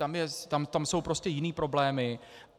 Tam jsou prostě jiné problémy.